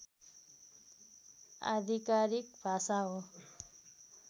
आधिकारिक भाषा हो